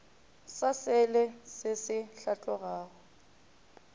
sa selee se se hlatlogago